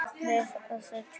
Meira að segja tvisvar